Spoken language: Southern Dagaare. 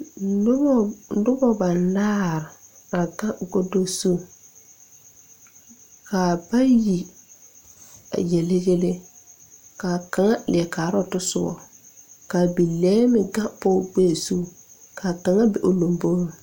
Nobɔ banaare a gaŋ godo zu kaa bayi a yele yɛlɛ kaa kaŋa leɛ kaaroo tɔsobɔ ka bilɛɛ meŋ gaŋ pɔg gbɛɛ zu kaa kaŋa be o lombore.